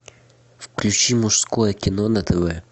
включи мужское кино на тв